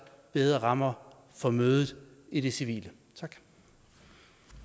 bedre rammer for mødet i det civile